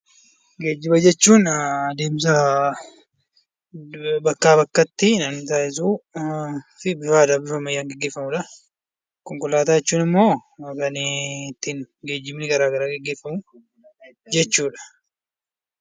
Geejjiba jechuun adeemsa bakkaa bakkatti namni taasisuu fi bifa aadaa fi bifa ammayyaan namni taasisudha. Konkolaataa jechuun immoo kan ittiin geejjibni garaagaraa gaggeeffamu jechuu dha.